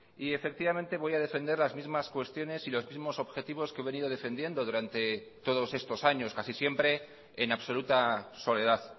y efectivamente voy a defender las mismas cuestiones y los mismos objetivos que he venido defendiendo durante todos estos años casi siempre en absoluta soledad